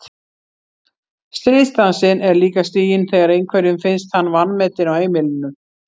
Stríðsdansinn er líka stiginn þegar einhverjum finnst hann vanmetinn á heimilinu.